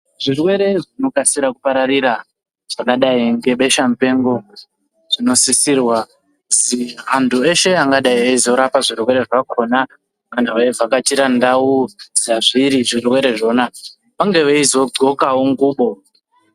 Zvirwere zvinokasira kupararira zvakadayi ngebesha mupengo, zvinosisirwa kuzi antu eshe angadayi eyizorapa zvirwere zvakona, antu eyivhakachira ndau dzazviri zvirwere zvona vange veyizodzxokawo ngubo.